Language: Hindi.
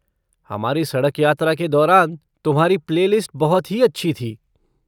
हमारी सड़क यात्रा के दौरान तुम्हारी प्ले लिस्ट बहुत ही अच्छी थी।